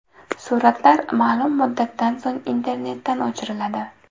Suratlar ma’lum muddatdan so‘ng internetdan o‘chiriladi.